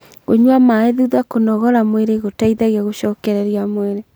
kũnyua maĩ thutha kũnogora mwĩrĩ gũteithagia gucokererĩa mwĩrĩ